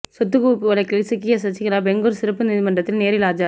சொத்துக் குவிப்பு வழக்கில் சிக்கிய சசிகலா பெங்களூர் சிறப்பு நீதிமன்றத்தில் நேரில் ஆஜர்